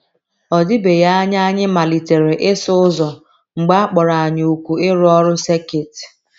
Ọ dịbeghị anya anyị malitere ịsụ ụzọ mgbe a kpọrọ anyị òkù ịrụ ọrụ sekit.